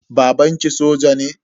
Babanki soja ne?